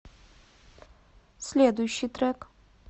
следующий трек